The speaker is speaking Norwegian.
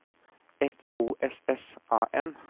F O S S A N